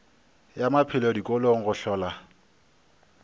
ya maphelo dikolong go hlola